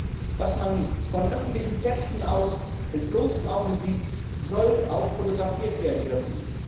Alles, was man von öffentlichen Plätzen aus mit bloßem Auge sieht, soll auch fotografiert werden dürfen.